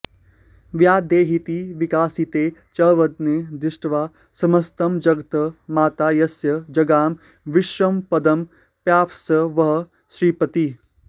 व्यादेहीति विकासिते च वदने दृष्ट्वा समस्तं जगत् माता यस्य जगाम विस्मयपदं पायात्स वः श्रीपतिः